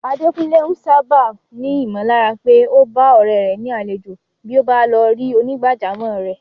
Adekunle ń sáábà ní ìmọ̀lára pé ó bá ọ̀rẹ́ rẹ̀ ni àlejò bí ó bá lọ rí onígbàjámọ̀ rẹ̀.